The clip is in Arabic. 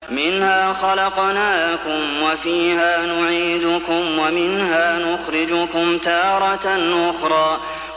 ۞ مِنْهَا خَلَقْنَاكُمْ وَفِيهَا نُعِيدُكُمْ وَمِنْهَا نُخْرِجُكُمْ تَارَةً أُخْرَىٰ